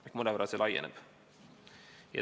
See mõnevõrra laieneb.